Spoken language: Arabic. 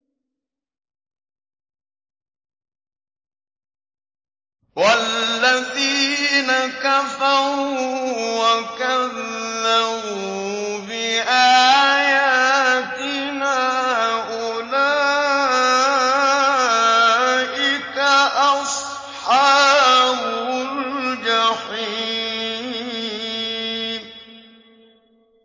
وَالَّذِينَ كَفَرُوا وَكَذَّبُوا بِآيَاتِنَا أُولَٰئِكَ أَصْحَابُ الْجَحِيمِ